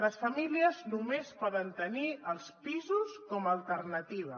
les famílies només poden tenir els pisos com a alternativa